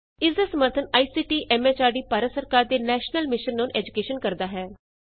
ਇਸ ਦਾ ਸਮਰੱਥਨ ਆਈਸੀਟੀ ਐਮ ਐਚਆਰਡੀ ਭਾਰਤ ਸਰਕਾਰ ਦੇ ਨੈਸ਼ਨਲ ਮਿਸ਼ਨ ਅੋਨ ਏਜੂਕੈਸ਼ਨ ਕਰਦਾ ਹੈ